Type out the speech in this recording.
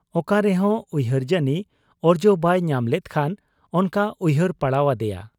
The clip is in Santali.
ᱚᱠᱟᱨᱮᱦᱚᱸ ᱩᱭᱦᱟᱹᱨ ᱡᱟᱹᱱᱤ ᱚᱨᱡᱚ ᱵᱟᱭ ᱧᱟᱢᱞᱮᱫ ᱠᱷᱟᱱ ᱚᱱᱠᱟ ᱩᱭᱦᱟᱹᱨ ᱯᱟᱲᱟᱣ ᱟᱫᱮᱭᱟ ᱾